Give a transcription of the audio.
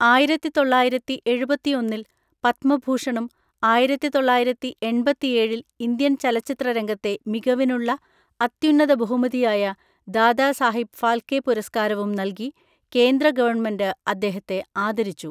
ആയിരത്തിതൊള്ളയിരത്തിഎഴുപത്തിഒന്നിൽ പത്മഭൂഷണും ആയിരത്തിതൊള്ളയിരത്തിഎൺപത്തിഏഴിൽ ഇന്ത്യൻ ചലച്ചിത്രരംഗത്തെ മികവിനുള്ള അത്യുന്നത ബഹുമതിയായ ദാദാ സാഹിബ് ഫാൽക്കെ പുരസ്കാരവും നൽകി കേന്ദ്ര ഗവൺമെന്റ് അദ്ദേഹത്തെ ആദരിച്ചു.